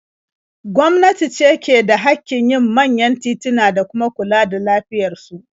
Gwamnati ce ke da haƙƙin yin manyan tituna da kuma kula da lafiyar su.